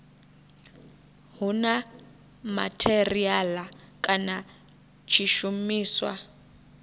hu na matheriala kana tshishumiswa